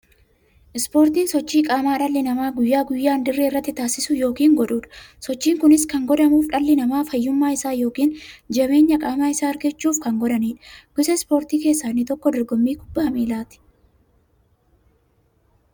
Ispoortiin sochii qaamaa dhalli namaa guyyaa guyyaan dirree irratti taasisu yookiin godhuudha. Sochiin kunis kan godhamuuf, dhalli namaa fayyummaa isaa yookiin jabeenya qaama isaa argachuuf kan godhaniidha. Gosa ispoortii keessaa inni tokko dorgommii kubbaa milaati.